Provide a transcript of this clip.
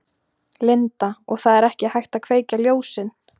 Linda: Og það er ekki hægt að kveikja ljósin?